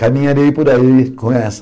Caminharei por aí com